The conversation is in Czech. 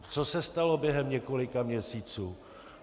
Co se stalo během několika měsíců?